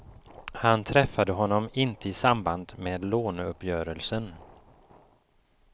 Han träffade honom inte i samband med låneuppgörelsen.